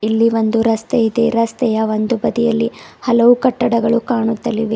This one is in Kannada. ಇಲ್ಲಿ ಬಂದು ರಸ್ತೆ ಇದೆ ರಸ್ತೆಯ ಒಂದು ಬದಿಯಲ್ಲಿ ಹಲವು ಕಟ್ಟಡಗಳು ಕಾಣುತ್ತಲಿವೆ.